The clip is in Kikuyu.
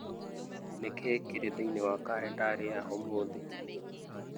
Nĩ kĩĩ kĩrĩ thĩinĩ wa kalendarĩ ya ũmũthĩ